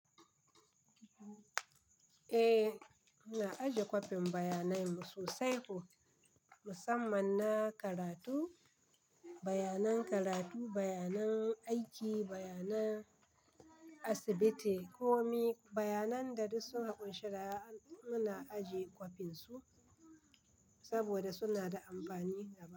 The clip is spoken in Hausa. Eh, muna ajiye kwafin bayanai mu sosai ko musamman na karatu, bayanan karatu, bayanan aiki, bayanan asibiti ko kuma bayanan da duk sun haƙun shirya muna ajiye kwafin su saboda suna da amfani a.